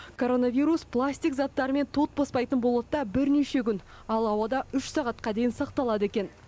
коронавирус пластик заттар мен тот баспайтын болатта бірнеше күн ал ауада үш сағатқа дейін сақталады екен